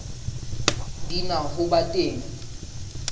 di na ho ba teng